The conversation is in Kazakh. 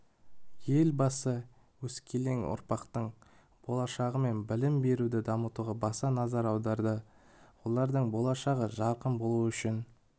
елбасы өскелең ұрпақтың болашағы мен білім беруді дамытуға баса назар аударады олардың болашағы жарқын болуы үшін